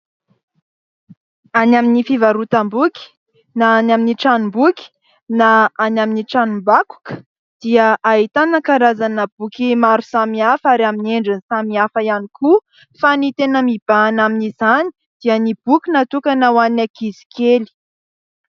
Any amin'ny fivarotam-boky, na any amin'ny tranom-boky, na any amin'ny tranom-bakoka dia ahitana karazana boky maro samy hafa ary amin'ny endriny samy hafa ihany koa. Fa ny tena mibahana amin'izany dia ny boky natokana ho any ankizy kely.